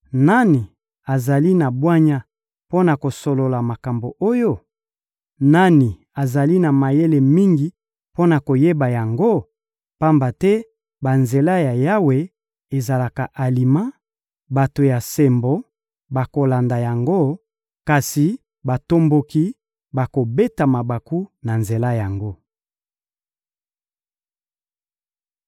Nani azali na bwanya mpo na kososola makambo oyo? Nani azali na mayele mingi mpo na koyeba yango? Pamba te banzela ya Yawe ezalaka alima: bato ya sembo bakolanda yango, kasi batomboki bakobeta mabaku na nzela yango.